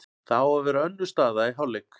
Það á að vera önnur staða í hálfleik.